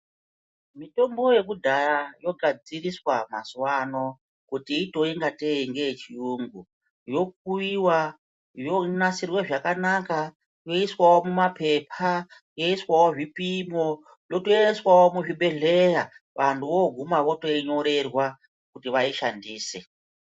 Mitombo yekudhaya yogadziriswa mazuva ano kuti iitewo ngate ndeyechiyungu yokuyiwa yonasirwe zvakanaka yoiswawo mumapepa yoiswawo zvipimo yotoiswawo muzvibhedheya vantu voguma votoinyorerwa kuti vaishandise.